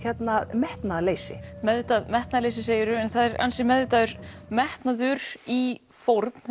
metnaðarleysi meðvitaða metnaðarleysi segirðu en það er ansi meðvitaður metnaður í fórn